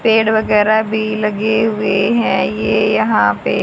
पेड़ वगैरह भी लगे हुए हैं ये यहां पे।